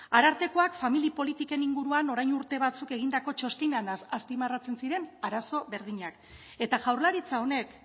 arartekoak familia politiken inguruan orain urte batzuk egindako txostenean azpimarratzen ziren arazo berdinak eta jaurlaritza honek